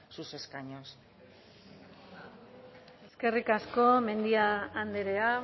sus escaños eskerrik asko mendia andrea